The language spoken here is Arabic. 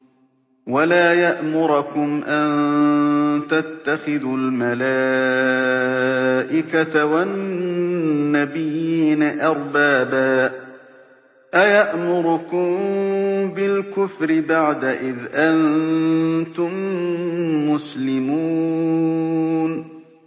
وَلَا يَأْمُرَكُمْ أَن تَتَّخِذُوا الْمَلَائِكَةَ وَالنَّبِيِّينَ أَرْبَابًا ۗ أَيَأْمُرُكُم بِالْكُفْرِ بَعْدَ إِذْ أَنتُم مُّسْلِمُونَ